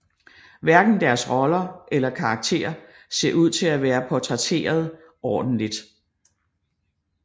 Hverken deres roller eller karakter ser ud til at være portrætteret ordentligt